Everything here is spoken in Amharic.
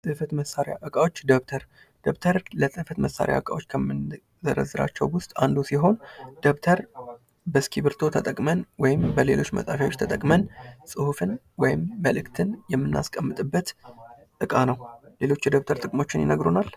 የፅህፈት መሳሪያ እቃዎች ደብተር :- ደብተር ለፅህፈት መሳሪያ ከምንዘረዝራቸዉ እቃዎች ዉስጥ አንዱ ሲሆን ደብተር በእስክርቢቶ ተጠቅመን ወይም በሌሎች መፃፊያዎች ተጠቅመን ፅሁፍን ወይም መልዕክትን የምናስቀምጥበት እቃ ነዉ። ሌሎች የደብተር ጥቅሞችን ይነግሩናል?